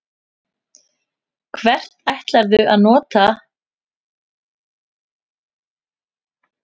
Hvar ætlarðu að nota þá í sumar ef þeir verða í leikhæfu formi?